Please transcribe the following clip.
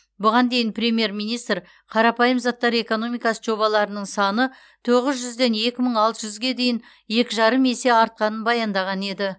бұған дейін премьер министр қарапайым заттар экономикасы жобаларының саны тоғыз жүзден екі мың алты жүзге дейін екі жарым есе артқанын баяндаған еді